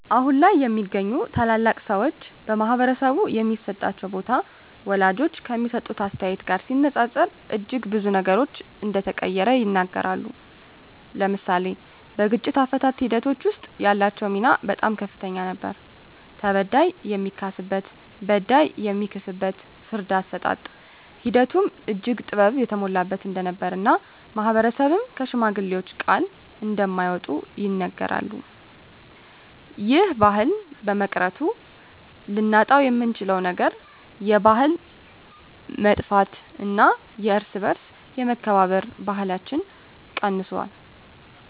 አሁን ላይ የሚገኙ ታላላቅ ሰወች በማህበረሰቡ የሚሰጣቸው ቦታ ወላጆች ከሚሰጡት አስተያየት ጋር ሲነፃፀር እጅግ ብዙ ነገሮች እንደተቀየረ ይናገራሉ። ለምሳሌ በግጭት አፈታት ሒደቶች ወስጥ ያላቸው ሚና በጣም ከፍተኛ ነበር ተበዳይ የሚካስበት በዳይ የሚክስበት የፍርድ አሰጣጥ ሒደቱም እጅግ ጥበብ የተሞላበት እንደነበር እና ማህበረሰብም ከሽማግሌወች ቃል እንደማይወጡ ይናገራሉ። ይህ ባህል በመቅረቱ ልናጣውየምንችለው ነገር የባህል መጥፍት እና የእርስ በእርስ የመከባበር ባህለች ቀንሶል።